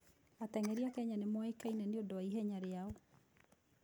Ateng'eri a Kenya nĩ moĩkaine nĩ ũndũ wa ihenya rĩao.